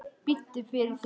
Biddu fyrir þér!